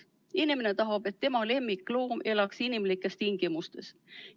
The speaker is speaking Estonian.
Inimene tahab, et tema lemmikloom elaks inimlikes tingimustes.